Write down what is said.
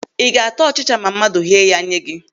Ị ga-ịta ọchịcha ma mmadụ ghee ya nye gị?